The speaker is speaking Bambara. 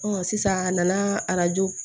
sisan a nana arajo